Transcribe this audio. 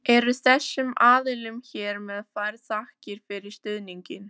Eru þessum aðilum hér með færðar þakkir fyrir stuðninginn.